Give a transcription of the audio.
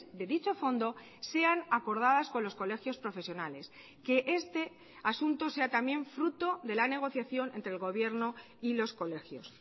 de dicho fondo sean acordadas con los colegios profesionales que este asunto sea también fruto de la negociación entre el gobierno y los colegios